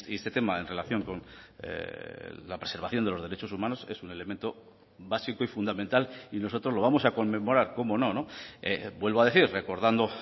este tema en relación con la preservación de los derechos humanos es un elemento básico y fundamental y nosotros lo vamos a conmemorar cómo no vuelvo a decir recordando